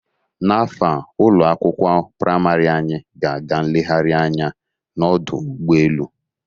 N'afọ a ụlọ akwụkwọ praịmarị anyị, ga-aga nlegharị anya n'ọdụ ụgbọ elu.